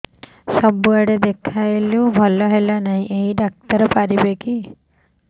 ସବୁଆଡେ ଦେଖେଇଲୁ ଭଲ ହେଲାନି ଏଇ ଡ଼ାକ୍ତର ପାରିବେ କି